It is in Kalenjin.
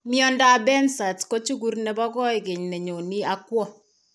Myondap behcet's ko chukur nebo kooykeny ne nyoone ak kwo.